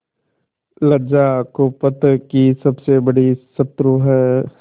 लज्जा कुपथ की सबसे बड़ी शत्रु है